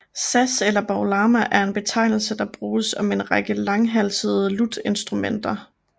Saz eller baglama er en betegnelse der bruges om en række langhalsede lutinstrumenter